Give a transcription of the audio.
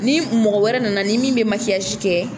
Ni mɔgɔ wɛrɛ nana ni min bɛ kɛ.